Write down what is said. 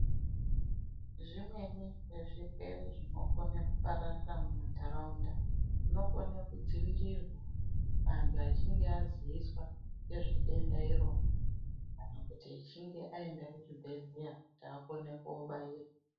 Zvimweni zvirwere zvinokona kupararira mumantaraunda zvinokone kudzivirirwa vantu vachinge vaziviswa ngezvedenda irona kana kuti achinge aende kuchibhedhleya kuti akone kubairwa.